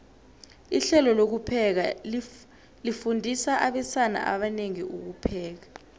ihlelo lokupheka lifundisa abesana abanengi ukupheka